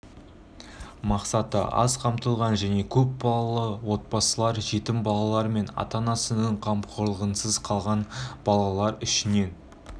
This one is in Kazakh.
мақсаты аз қамтылған және көп балалы отбасылар жетім балалар мен ата-анасының қамқорлығынсыз қалған балалар ішінен